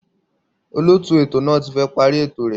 Olóòtú ètò náà ti fẹ́ parí ètò rẹ̀